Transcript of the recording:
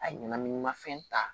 A ɲɛnaminimafɛn ta